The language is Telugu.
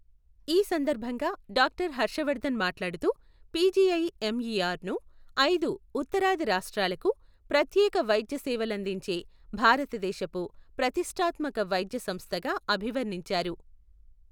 ఈ సందర్భంగా డాక్టర్ హర్షవర్ధన్ మాట్లాడుతూ, పిజిఐఎంఇఆర్ ను ఐదు ఉత్తరాది రాష్టాలకు ప్రత్యేక వైద్య సేవలందించే భారతదేశపు ప్రతిష్ఠాత్మక వైద్య సంస్థగా అభివర్ణించారు.